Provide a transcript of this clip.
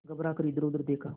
घबरा कर इधरउधर देखा